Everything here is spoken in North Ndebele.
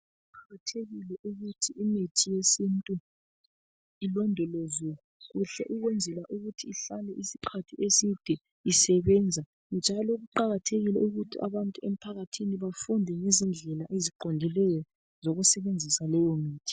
Kuqakathekile ukuthi imithi yesintu, ilondolozwe kuhle. Ukwenzela ukuthi ihlale isikhathi eside isebenza. Njalo kuqakathekile ukuthi abantu emphakathini, bafunde ngezindlela eziqondileyo, zokusebenzisa leyomithi.